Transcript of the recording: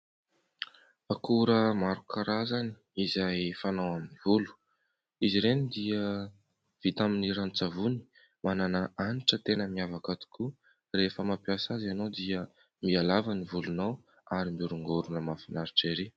Akora maro karazany izay fanao amin'ny volo, izy ireny dia vita amin'ny ranon-tsavony manana hanitra tena miavaka tokoa, rehefa mampiasa azy ianao dia mihalava ny volonao ary mihorongorona mahafinaritra ery.